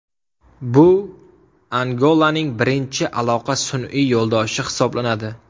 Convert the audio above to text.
Bu Angolaning birinchi aloqa sun’iy yo‘ldoshi hisoblanadi.